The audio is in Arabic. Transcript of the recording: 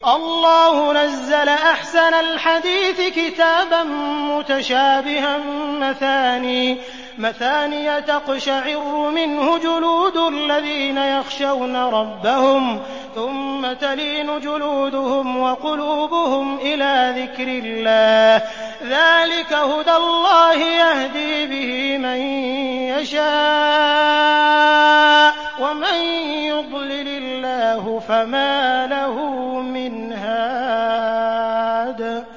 اللَّهُ نَزَّلَ أَحْسَنَ الْحَدِيثِ كِتَابًا مُّتَشَابِهًا مَّثَانِيَ تَقْشَعِرُّ مِنْهُ جُلُودُ الَّذِينَ يَخْشَوْنَ رَبَّهُمْ ثُمَّ تَلِينُ جُلُودُهُمْ وَقُلُوبُهُمْ إِلَىٰ ذِكْرِ اللَّهِ ۚ ذَٰلِكَ هُدَى اللَّهِ يَهْدِي بِهِ مَن يَشَاءُ ۚ وَمَن يُضْلِلِ اللَّهُ فَمَا لَهُ مِنْ هَادٍ